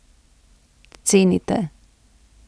Cenite.